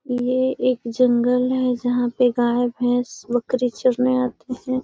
ये एक जंगल है जहाँ पे गाय भेंस बकरी चरने आती हैं।